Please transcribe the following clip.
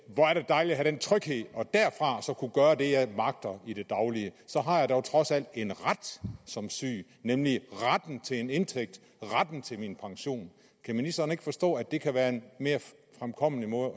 hvor er det dejligt at have den tryghed og derfra kunne gøre det jeg magter i det daglige så har jeg dog trods alt en ret som syg nemlig retten til en indtægt retten til min pension kan ministeren ikke forstå at det kan være en mere fremkommelig måde